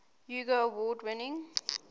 hugo award winner